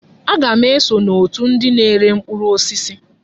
Aga m eso n'otù ndị na-ere mkpụrụ osisi.